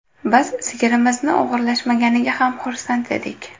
Biz sigirimizni o‘g‘irlashmaganiga ham xursand edik.